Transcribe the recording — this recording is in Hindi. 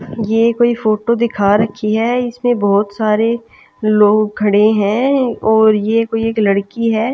ये कोई फोटो दिखा रखी है इसमें बहुत सारे लोग खड़े हैं और यह कोई एक लड़की है--